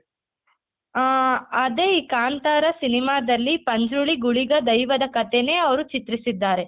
ಆ ಅದೇ ಈ ಕಾಂತಾರ cinema ದಲ್ಲಿ ಪಂಜುರ್ಲಿ ಗುಳಿಗ ದೈವದ ಕಥೆನೇ ಅವ್ರು ಚಿತ್ರಿಸಿದ್ದಾರೆ.